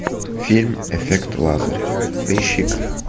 фильм эффект лазаря поищи ка